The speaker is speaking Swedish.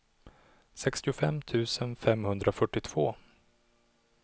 sextiofem tusen femhundrafyrtiotvå